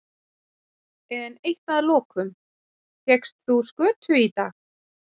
En eitt að lokum, fékkst þú skötu í dag?